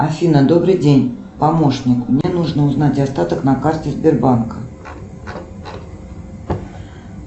афина добрый день помощник мне нужно узнать остаток на карте сбербанка